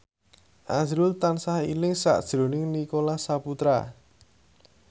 azrul tansah eling sakjroning Nicholas Saputra